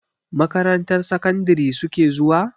Makarantar sakandari su ke zuwa?